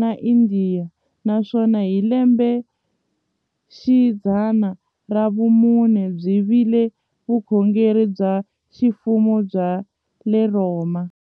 na Indiya, naswona hi lembexidzana ra vumune byi vile vukhongeri bya ximfumo bya le Rhoma.